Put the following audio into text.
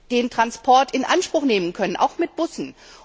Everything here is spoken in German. den Transport in Anspruch nehmen können, auch mit Bussen.